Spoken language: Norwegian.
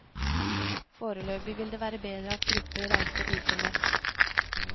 Foreløpig vil det være bedre at grupper reiser uformelt.